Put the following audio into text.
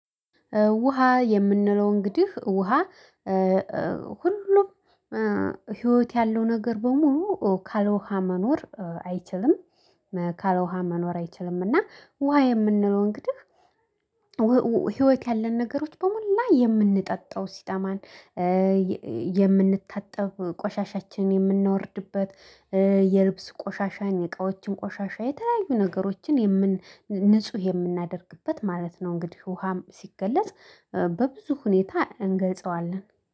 ውሃ የምንለው እንግዲህ ውሃ ሁሉም ህይወት ያለው ነገር በሙሉ ካለውሃ መኖር አይችልም ካለውሃ መኖር አይችልምና። ውሃ የምንለው እንግዲህ ህይወት ያለን ነገሮች በሞላ የምንጠጣው ሲጠማን። የምንታጠብ ቆሻሻችንን የምናወርድበት የልብስ ቆሻሻን የ እቃዎችን ቆሻሻ የተለያዩ ነገሮችን የምን ንጹህ የምናደርግበት ማለት ነው። እንግዲህ ውሃም ሲገለጽ በብዙ ሁኔታ እንገልጸዋለን